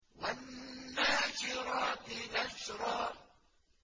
وَالنَّاشِرَاتِ نَشْرًا